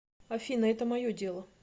афина это мое дело